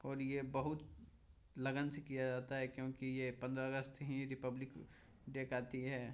और ये बहुत लगन से किया जाता है क्योकि ये पंधरा अगस्त ही रिपब्लिक डे कहती है।